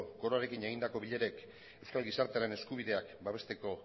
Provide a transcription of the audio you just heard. koroarekin egindako bilerek euskal gizartearen eskubideak babesteko